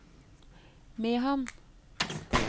Mehamn